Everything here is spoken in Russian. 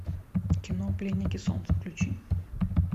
кино пленники солнца включи